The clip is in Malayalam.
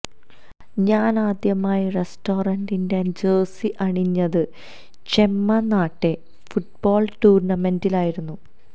ഞാൻ ആദ്യമായി റെഡ്സ്റ്റാറിന്റെ ജേഴ്സി അണിഞ്ഞത് ചെമ്മ നാട്ടെ ഫുട്ബാൾ ടൂര്ണമെന്റിനായിരുന്നു